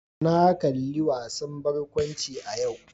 Na kalli wasan barkwanci a yau.